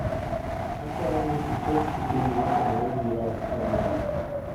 akwayo ni iket kipindi maotenore gi rock e redio